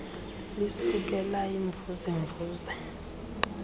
lisuke layimvuze mvuze